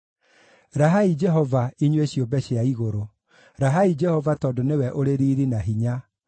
Rahai Jehova, inyuĩ ciũmbe cia igũrũ, rahai Jehova tondũ nĩwe ũrĩ riiri na hinya.